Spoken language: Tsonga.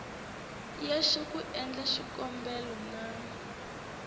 yexe ku endla xikombelo na